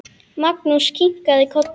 Magnús kinkaði kolli.